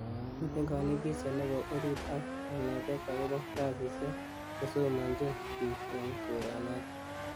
Miten konetishie nebo orit ak kanetet agobo kasisiek chesomonyin bik en koronoton.